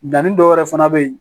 Danni dɔwɛrɛ fana bɛ yen